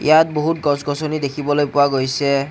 ইয়াত বহুত গছ-গছনি দেখিবলৈ পোৱা গৈছে।